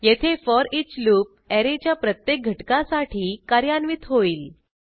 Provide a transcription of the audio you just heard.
येथे foreach loop ऍरेच्या प्रत्येक घटकासाठी कार्यान्वित होईल